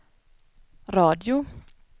radio